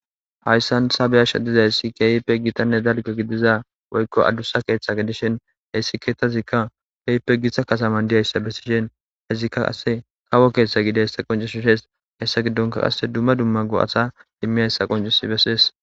Hayssan sabeyasha dizay si keyipe gitanne dalqe giddiza woykko adussa keeththa gedishin heyssi keethazikka kepe githa kataman diyayssa besishen hezikka ase kawo keeththa gidessa qoncushis hees hessa giddonka qasse dumma dumma go7atha dimmi hayssa qoncus besiees.